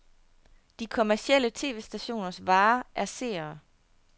De kommercielle tv-stationers vare er seere.